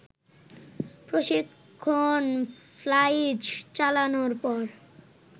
প্রশিক্ষণ ফ্লাইট চালানোর পর